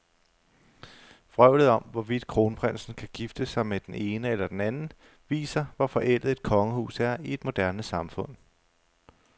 Vrøvlet om, hvorvidt kronprinsen kan gifte sig med den ene eller den anden, viser, hvor forældet et kongehus er i et moderne samfund.